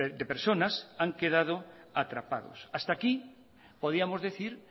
de personas han quedado atrapados hasta aquí podíamos decir